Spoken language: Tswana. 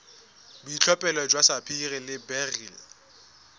boitlhophelo jwa sapphire le beryl